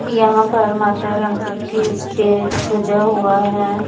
यहाँ पर माता रानी की स्टेज सजा हुआ है।